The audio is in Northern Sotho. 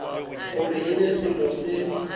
gore e be selo se